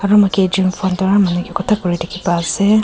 aru moike ekjon phone para malik ke kotha kuri dikhi pa ase.